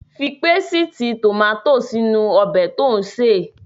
Fi pésìtì tòmátò sí inú ọbẹ̀ tí ò ń sè.